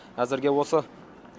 әзірге осы